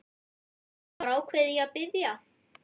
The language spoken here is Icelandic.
Og var ákveðinn í að biðja